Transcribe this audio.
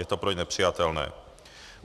Je to pro ně nepřijatelné.